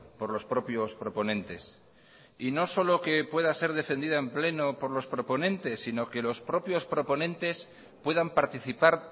por los propios proponentes y no solo que pueda ser defendida en pleno por los proponentes sino que los propios proponentes puedan participar